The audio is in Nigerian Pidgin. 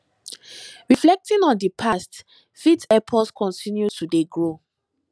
reflecting on di past fit help us continue to dey grow